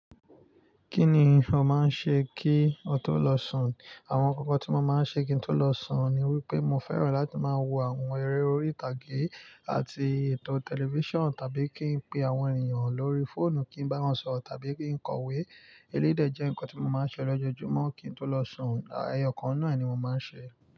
Kí ni ò máa ń ṣe kí o tó lọ sùn? Àwọn ǹkan kàń tí mo máa ń ṣe kí ń tó lọ sùn ni wípé mo fẹ́ràn láti máa wo àwọn eré orí ìtàgé àti ètò tẹlifíṣàn tàbí kí n pe àwọn èniyàn lórí fóònù kí n bá wọn sọ̀rọ̀ tàbí kí n kọ̀wé. Eléyí dè jẹ́ ǹkan tí mo máa ń ṣe lọ́jọ́júmọ́ kí n tó lọ sùn, à èyọ̀kan n’nu ẹ́ ni mo máa ń ṣe é.